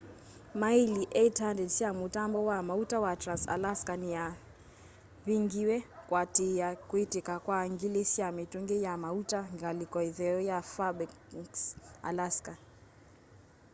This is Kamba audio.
maĩli 800 sya mũtambo wa maũta wa trans-alaska nĩsyavingĩwe kũatĩĩa kwĩtĩka kwa ngili sya mĩtũngĩ ya maũta ngalĩko ĩtheo ya faĩrbanks alaska